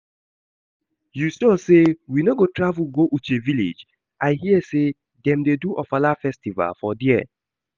You sure say we no go travel go Uche village? I hear say dem dey do ofala festival for there